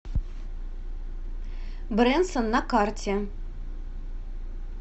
бренсон на карте